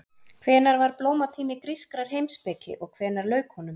Hvenær var blómatími grískrar heimspeki og hvenær lauk honum?